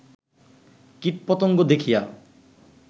কীট পতঙ্গ দেখিয়া